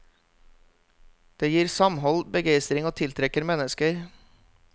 Det gir samhold, begeistring og tiltrekker mennesker.